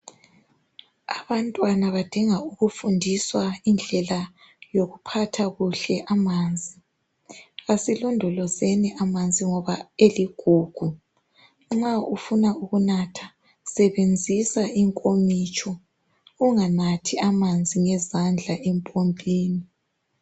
Abantwana badinga ukufundiswa indlela yokuphatha kuhle amanzi, asilondolozeni amanzi ngoba eligugu nxa ufuna ukunatha sebenzisa inkomitsho unganathi amanzi ngezandla empompini.